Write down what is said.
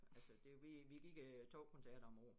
Altså det vi vi giver øh 2 koncerter om æ år